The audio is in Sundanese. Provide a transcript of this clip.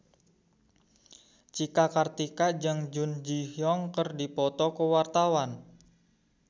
Cika Kartika jeung Jun Ji Hyun keur dipoto ku wartawan